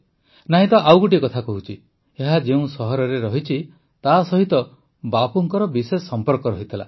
ନାଇଁ ତ ଆଉ ଗୋଟିଏ କଥା କହୁଛି ଏହା ଯେଉଁ ସହରରେ ଅଛି ତାସହିତ ବାପୁଙ୍କର ବିଶେଷ ସମ୍ପର୍କ ରହିଥିଲା